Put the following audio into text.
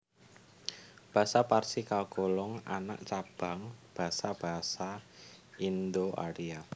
Basa Parsi kagolong anak cabang basa basa Indo Arya